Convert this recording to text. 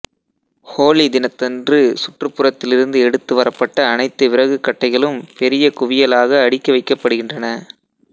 ஹோலி தினத்தன்று சுற்றுப்புறத்திலிருந்து எடுத்து வரப்பட்ட அனைத்து விறகுக் கட்டைகளும் பெரிய குவியலாக அடுக்கி வைக்கப்படுகின்றன